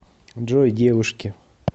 джой девушки